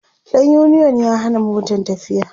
ɗan uniyon ya Hana Motan tafiya